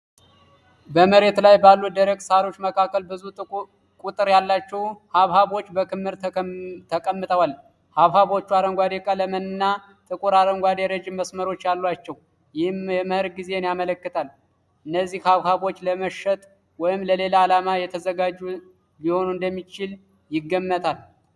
በመሬት ላይ ባሉ ደረቅ ሣሮች መካከል ብዙ ቁጥር ያላቸው ሐብሐቦች በክምር ተቀምጠዋል። ሐብሐቦቹ አረንጓዴ ቀለም እና ጥቁር አረንጓዴ ረጅም መስመሮች አሏቸው፣ ይህም የመኸር ጊዜን ያመለክታል። እነዚህ ሐብሐቦች ለመሸጥ ወይም ለሌላ ዓላማ የተዘጋጁ ሊሆኑ እንደሚችሉ ይገምታሉ?